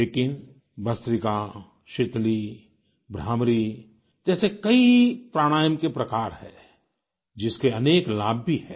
लेकिन भस्त्रिका शीतली भ्रामरी जैसे कई प्राणायाम के प्रकार हैं जिसके अनेक लाभ भी हैं